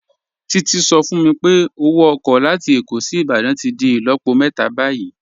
Títí sọ fún mí pé ọwọ oko latí Ékó sí Ìbàdàn tí dì ilọ̀pọ̀ mẹta bayí.i